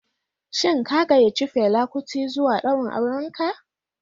Shin ka gayyaci Fela kuti zuwa daurin auren ka?